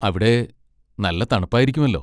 അവിടെ നല്ല തണുപ്പായിരിക്കുമല്ലോ.